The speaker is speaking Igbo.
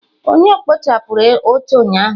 Onye kpochapụrụ oche ụnyaahụ?